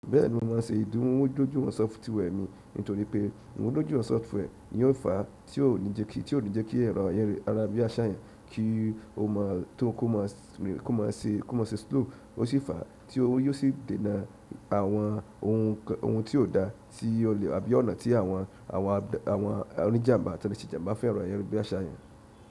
Bẹ́ẹ̀ni mo máa n ṣe ìmúdójúìwọ̀n software mi nítorí pé ìmúdójúìwọ̀n software ni ò fàá tí óò ní jẹ́ kí ẹ̀rọ ayarabiaṣa yan ki o mọ tó kó má se slow ó sì fàá tí yóò sì dènà àwọn ohun tí ó dá sí olè àbí ọ̀nà tí àwọn oníjàmbá tàbí jìnjàmbá fẹ́ràn ẹ̀rọ ayárabiaṣa yan.